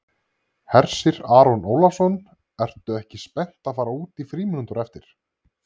Hersir Aron Ólafsson: Ertu ekki spennt að fara út í frímínútur á eftir?